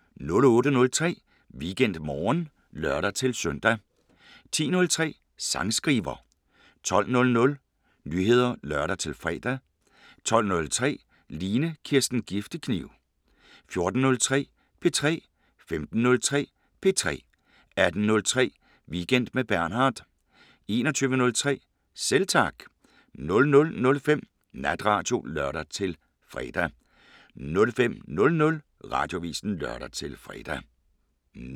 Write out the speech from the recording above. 08:03: WeekendMorgen (lør-søn) 10:03: Sangskriver 12:00: Nyheder (lør-fre) 12:03: Line Kirsten Giftekniv 14:03: P3 15:03: P3 18:03: Weekend med Bernhard 21:03: Selv Tak 00:05: Natradio (lør-fre) 05:00: Radioavisen (lør-fre)